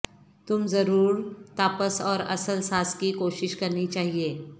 تم ضرور تاپس اور اصل ساس کی کوشش کرنی چاہئے